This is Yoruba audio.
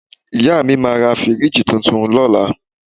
Ìyá mi máa ra fíríìjì tuntun lọ́la